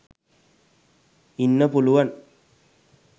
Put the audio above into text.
ඉන්න පුලුවන්.